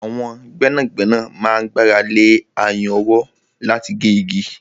Àwọn gbẹ́nàgbẹ́nà máa ń gbára lé ayùn ọwọ́ láti gé igi.